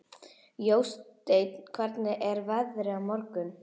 Jósteinn, hvernig er veðrið á morgun?